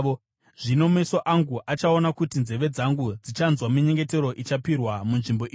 Zvino meso angu achaona uye nzeve dzangu dzichanzwa minyengetero ichapirwa munzvimbo ino.